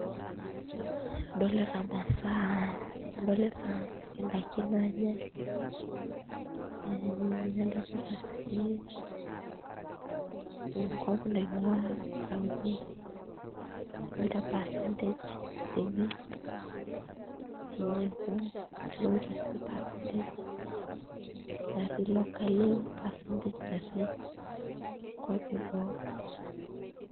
Adolita imasaa adolita ndaikin naanyai ee nadolita sii enkop naing'uaa naitaunyieki o percentage enye amu adolita sii percentage natii locally o percentage natii nkuapi eboo.